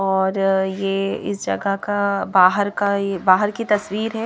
और ये इस जगह का बाहर कायबाहर की तस्वीर है।